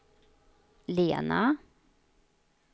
Lena